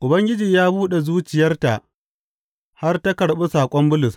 Ubangiji ya buɗe zuciyarta har ta karɓi saƙon Bulus.